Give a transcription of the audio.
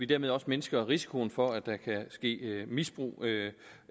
dermed også mindsker risikoen for at der kan ske misbrug